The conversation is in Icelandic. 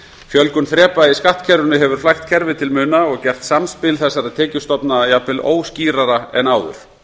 fjölgun þrepa í skattkerfinu hefur flækt kerfið til muna og gert samspil þessara tekjustofna jafnvel óskýrara en áður